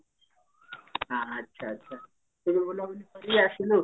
ଆଛା ଆଛା ତୁ ବୁଲାବୁଲି କରିକି ଆସିଲୁ